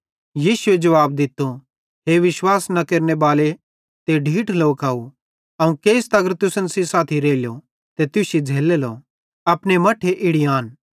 यीशुए जुवाब दित्तो हे विश्वास न केरने बालाव ते ढीठ लोकव अवं केइस तगर तुसन सेइं साथी रेइलो ते तुश्शी झ़ैल्लेलो अपने मट्ठे इड़ी आन